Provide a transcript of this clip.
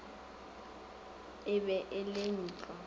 e be e le ntlo